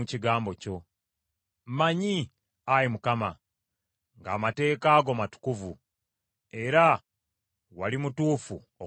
Mmanyi, Ayi Mukama , ng’amateeka go matukuvu, era wali mutuufu okumbonereza.